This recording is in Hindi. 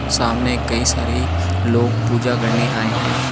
सामने कई सारी लोग पूजा करने आये है।